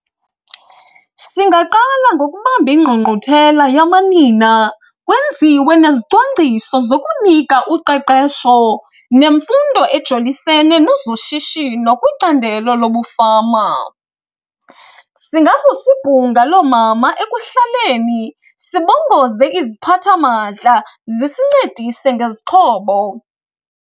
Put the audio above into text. Singaqala ngokubamba ingqungquthela yamanina, kwenziwe nezicwangciso zokunika uqeqesho nemfundo ejolisene nezoshishino kwicandelo lobufama. Singavusa ibhunga loomama ekuhlaleni sibongoze iziphathamandla zisincedise ngezixhobo.